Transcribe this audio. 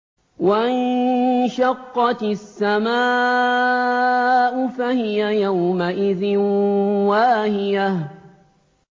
وَانشَقَّتِ السَّمَاءُ فَهِيَ يَوْمَئِذٍ وَاهِيَةٌ